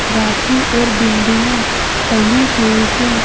राखी और बिंदियाँ टंगी हुई हैं।